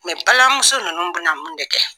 balimamuso ninnu bɛna mun de kɛ